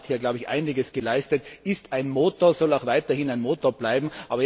Europa hat hier einiges geleistet, ist ein Motor, soll auch weiterhin ein Motor bleiben.